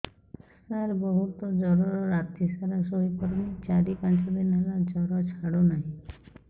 ସାର ବହୁତ ଜର ରାତି ସାରା ଶୋଇପାରୁନି ଚାରି ପାଞ୍ଚ ଦିନ ହେଲା ଜର ଛାଡ଼ୁ ନାହିଁ